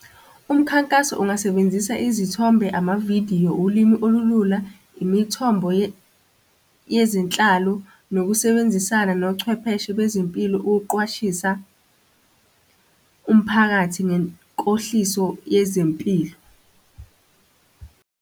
Umkhankaso ungasebenzisa izithombe, amavidiyo, ulimi olulula, imithombo yezinhlalo, nokusebenzisana nochwepheshe bezempilo, ukuqwashisa umphakathi ngenkohliso yezempilo.